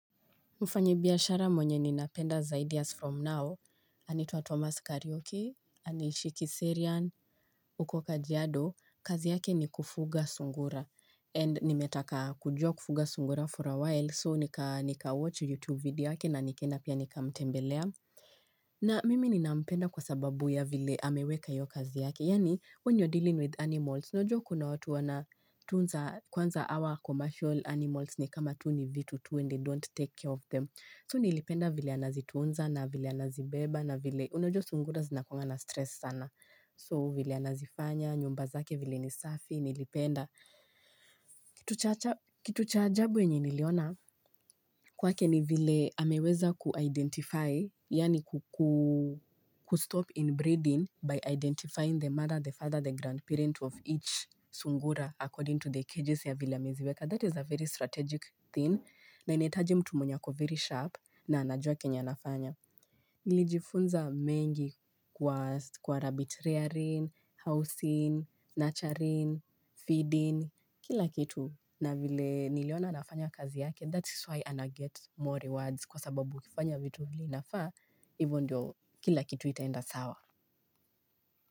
Mfanyi biashara mwenye ninapenda zaidi as from now. Anaitwa Thomas Kariuki, Anishi Kiserian, huko kajiado. Kazi yake ni kufuga sungura and nimetaka kujua kufuga sungura for a while so nika watch YouTube video yake na nikaenda pia nikamtembelea. Na mimi ninapenda kwa sababu ya vile ameweka hiyo kazi yake. Yaani when you're dealing with animals, unajua kuna watu wana tunza kwanza hawa commercial animals ni kama tu ni vitu tu and they don't take care of them. So nilipenda vile anazitunza na vile anazibeba na vile unajua sungura zinakuanga na stress sana. So vile anazifanya, nyumba zake vile ni safi, nilipenda. Kitu cha ajabu wenye niliona kwake ni vile ameweza ku-identify, yani kustop inbreeding by identifying the mother, the father, the grandparent of each sungura according to the cages ya vile ameziweka. That is a very strategic thing na inahitaji mtu mwenye ako very sharp na anajua kenya anafanya. Nilijifunza mengi kwa rabbit rearing, housing, nurturing, feeding, kila kitu. Na vile niliona anafanya kazi yake, that is why anaget more rewards kwa sababu kufanya vitu vile inafa, hivo ndio kila kitu itaenda sawa.